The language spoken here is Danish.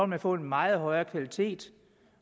man få en meget højere kvalitet